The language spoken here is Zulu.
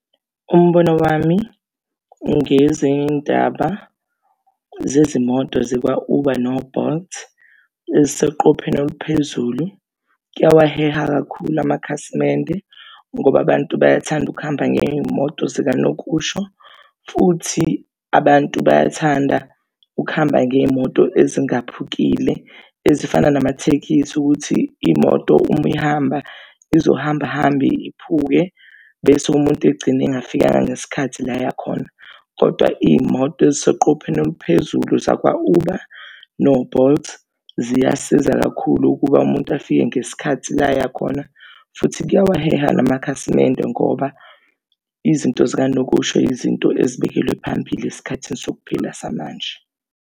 Umbono wami ngezindaba zezimoto zakwa-Uber no-Bolt eziseqopheni oluphezulu kuyawaheha kakhulu amakhasimende ngoba abantu bayathanda ukuhamba ngey'moto zikanokusho, futhi abantu bayathanda ukuhamba ngey'moto ezingaphukile ezifana namathekisi ukuthi imoto uma ihamba izohamba hamba iphuke bese umuntu egcine engafikanga ngesikhathi la eya khona. Kodwa iy'moto eziseqopheni eliphezulu zakwa-Uber no-Bolt ziyasiza kakhulu ukuba umuntu afike ngesikhathi la aya khona futhi kuyawaheha namakhasimende ngoba izinto zikanokusho izinto ezibekelwe phambili esikhathini sokuphila samanje.